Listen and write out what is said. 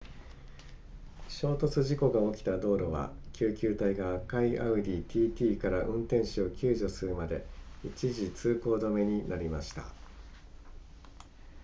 衝突事故が起きた道路は救急隊が赤いアウディ tt から運転手を救助するまで一時通行止めになりました